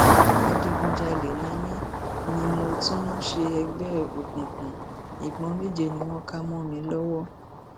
adigunjalè ni mí mí mo tún ń ṣègbè òkùnkùn ìbọn méje ni wọn ká mọ mi lọwọ